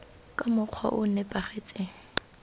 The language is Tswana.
ka mokgwa o o nepagetseng